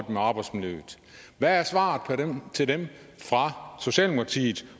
med arbejdsmiljøet hvad er svaret til dem fra socialdemokratiet